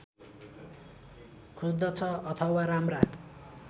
खोज्दछ अथवा राम्रा